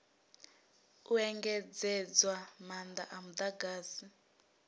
u engedzedzwa maanda a mudagasi